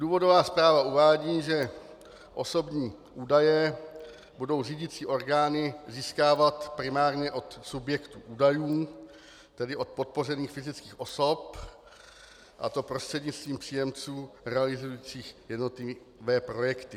Důvodová zpráva uvádí, že osobní údaje budou řídicí orgány získávat primárně od subjektů údajů, tedy od podpořených fyzických osob, a to prostřednictvím příjemců realizujících jednotlivé projekty.